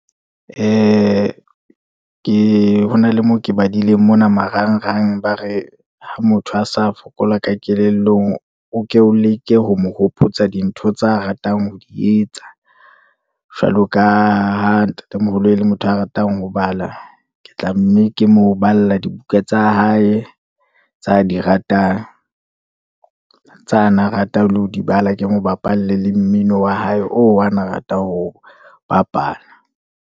Ke ho na le moo ke badileng mona marangrang, ba re ha motho a sa fokola ka kelellong, o ke o leke ho mo hopotsa dintho tsa ratang ho di etsa, jwalo ka ha ntatemoholo e le motho a ratang ho bala. Ke tla mme ke mo bala dibuka tsa hae tsa di ratang, tsa na ratang le ho di bala, ke mo bapalle le mmino wa hae, oo ana rata ho bapala.